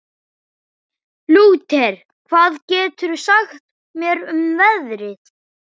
Lúter, hvað geturðu sagt mér um veðrið?